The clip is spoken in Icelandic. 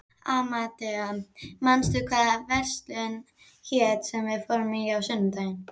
Amadea, manstu hvað verslunin hét sem við fórum í á sunnudaginn?